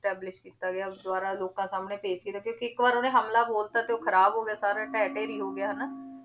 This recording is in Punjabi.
establish ਕੀਤਾ ਗਿਆ ਦੁਬਾਰਾ ਲੋਕਾਂ ਸਾਹਮਣੇ ਪੇਸ਼ ਕੀਤਾ ਕਿਉਂਕਿ ਇੱਕ ਵਾਰ ਉਹਨੇ ਹਮਲਾ ਬੋਲ ਦਿੱਤਾ ਤੇ ਉਹ ਖ਼ਰਾਬ ਹੋ ਗਿਆ ਸਾਰਾ ਢਹਿ ਢੇਰੀ ਹੋ ਗਿਆ ਹਨਾ